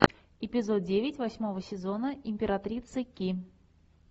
эпизод девять восьмого сезона императрица ки